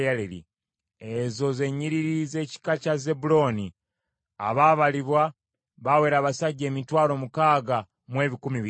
Ezo ze nnyiriri z’ekika kya Zebbulooni. Abaabalibwa baawera abasajja emitwalo mukaaga mu ebikumi bitaano (60,500).